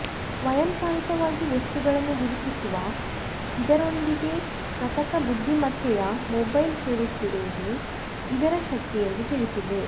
ಸ್ವಯಂಚಾಲಿತವಾಗಿ ವಸ್ತುಗಳನ್ನು ಗುರುತಿಸುವ ಇದರೊಂದಿಗೆ ಕೃತಕ ಬುದ್ಧಿಮತ್ತೆಯ ಮೊಬೈಲ್ ಸೇರಿಸಿರುವುದು ಇದರ ಶಕ್ತಿ ಎಂದು ತಿಳಿಸಿದೆ